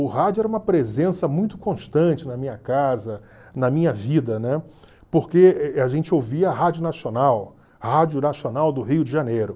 O rádio era uma presença muito constante na minha casa, na minha vida, né, porque a gente ouvia Rádio Nacional, Rádio Nacional do Rio de Janeiro.